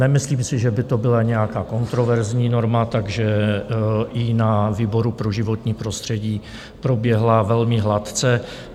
Nemyslím si, že by to byla nějaká kontroverzní norma, takže i na výboru pro životní prostředí proběhla velmi hladce.